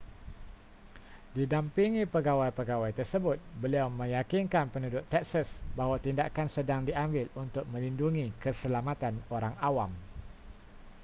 didampingi pegawai-pegawai tersebut beliau meyakinkan penduduk texas bahawa tindakan sedang diambil untuk melindungi keselamatan orang awam